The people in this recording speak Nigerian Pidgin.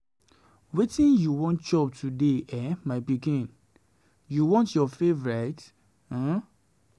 Wetin you wan chop today eh my pikin, you want your favorite um?